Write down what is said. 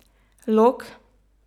Lok?